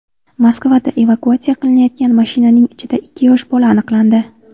Moskvada evakuatsiya qilinayotgan mashinaning ichida ikki yosh bola aniqlandi.